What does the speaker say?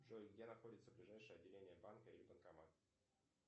джой где находится ближайшее отделение банка или банкомат